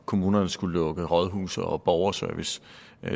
kommunerne skulle lukke rådhuse og borgerservice